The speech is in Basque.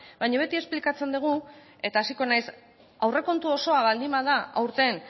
baina beti esplikatzen dugu eta hasiko naiz aurrekontu osoa baldin bada aurten